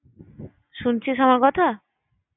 শুনছিস আমার কথা?